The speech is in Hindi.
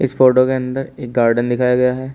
इस फोटो के अंदर एक गार्डन दिखाया गया है।